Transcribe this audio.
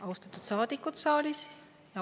Austatud saadikud saalis!